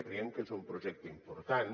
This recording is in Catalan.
creiem que és un projecte important